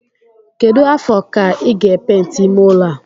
Kedu afọ ka I ga penti ime ụlọ a?